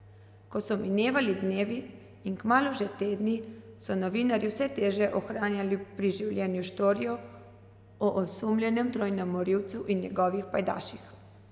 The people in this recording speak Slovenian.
Ko so minevali dnevi in kmalu že tedni, so novinarji vse teže ohranjali pri življenju štorijo o osumljenem trojnem morilcu in njegovih pajdaših.